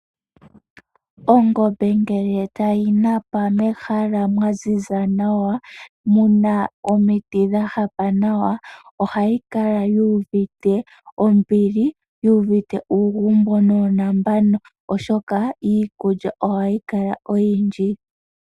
Ongombe ngele tayi napa mehala mwaziza nawa, muna omiti dha hapa nawa, ohayi kala yu uvite ombili, yu uvite uugumbo nuunambano, oshoka iikulya ohayi kala oyindji.